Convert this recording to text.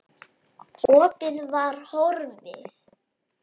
Opið var horfið.